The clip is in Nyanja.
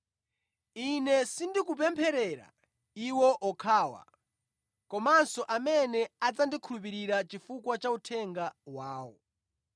“Ine sindikupempherera iwo okhawa, komanso amene adzandikhulupirira chifukwa cha uthenga wawo.